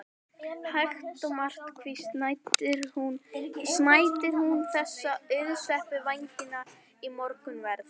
Hægt og markvisst snæddi hún þessa auðsveipu vængi í morgunverð.